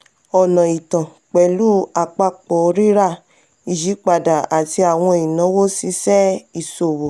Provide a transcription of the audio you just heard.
ọ̀nà itan pẹlu apapọ rira ìyípadà ati àwọn inawo ṣíṣe ìṣòwò.